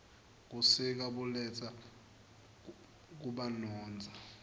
busika buletsa kubanotza